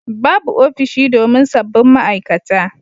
Babu ofishi domin sabbin ma'aikata